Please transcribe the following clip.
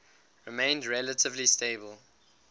remained relatively stable